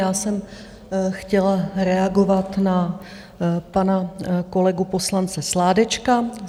Já jsem chtěla reagovat na pana kolegu poslance Sládečka.